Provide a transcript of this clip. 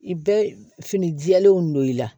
I bɛ fini jɛlenw don i la